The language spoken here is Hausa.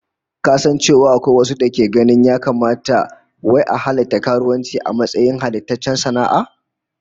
Ka san cewa akwai wasu dake ganin ya kamata wai a halatta karuwanci a matsayin halattaccen sana'a?